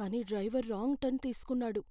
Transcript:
కానీ driver wrong turn తీసుకున్నాడు.